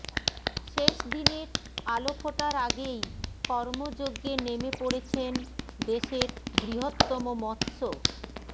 শেষ দিনের আলো ফোটার আগেই কর্মযজ্ঞে নেমে পড়েছেন দেশের বৃহত্তম মৎস্য